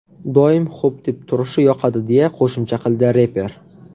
Doim ‘xo‘p’ deb turishi yoqadi”, deya qo‘shimcha qildi reper.